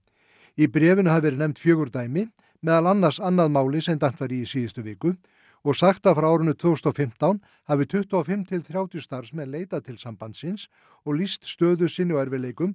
í bréfinu hafi verið nefnd fjögur dæmi meðal annars annað málið sem dæmt var í í síðustu viku og sagt að frá árinu tvö þúsund og fimmtán hafi tuttugu og fimm til þrjátíu starfsmenn leitað til sambandsins og lýst stöðu sinni og erfiðleikum